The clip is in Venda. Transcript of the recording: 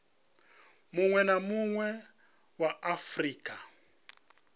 munwe na munwe wa afurika